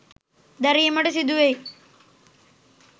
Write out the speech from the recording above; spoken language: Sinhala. දැරීමට සිදුවෙයි.